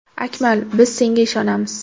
Akmal, biz senga ishonamiz!